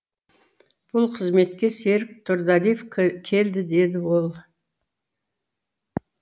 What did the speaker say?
бұл қызметке серік тұрдалиев келді деді ол